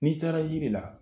N'i taara yiri la